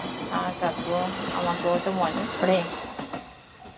হ্যাঁ কাকু আমাকেও তো মনে পরে